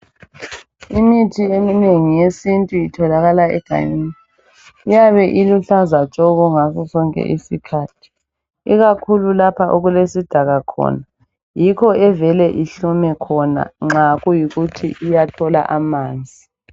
Imithi eminengi yesintu itholakala egangeni. Iyabe iluhlaza tshoko ngaso sonke isikhathi. Ikakhulu lapha okulesidaka khona. Yikho evele ihlume khona nxa kuyikuthi iyathola amanzi.